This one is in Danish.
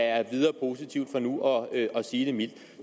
er videre positivt for nu at sige det mildt